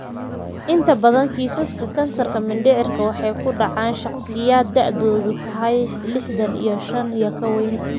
Inta badan kiisaska kansarka mindhicirka waxay ku dhacaan shakhsiyaadka da'doodu tahay liixdhan iyo shaan iyo ka weyn.